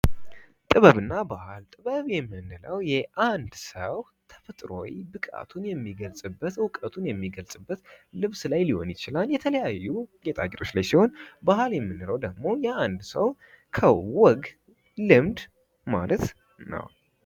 ጥበብና ባህል ጥበብ የምንለው የአንድ ሰው ተፈጥሮአዊ ብቃቱን የሚገልጽበት እውቀቱን የሚገልጽበት ልብስ ላይ ሊሆን ይችላል የተለያዩ ጌጣጌጦች ለይ ሲሆን ባህል የምንለው ደግሞ የአንድ ሰው ከወግ፣ ልምድ ማለት ነው።